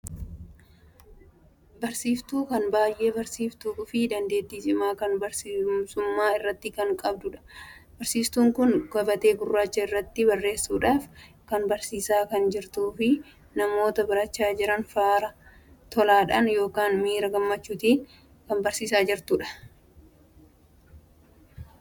Barsiiftuun kan baay'ee barsiiftuun fi dandeettii cimaa kan barsiisummaa irratti kan qabuudha. barsiistuun kun gabatee gurraachaa irratti barreessuudhaaf kan barsiisaa kan jirtuu fi namoota barachaa jiran faara tolaadhaan ykn miira gammachuu agarsiisaa kan barsiisaa kan jirtuudha.